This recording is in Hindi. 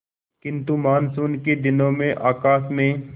किंतु मानसून के दिनों में आकाश में